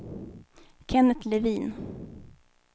Kennet Levin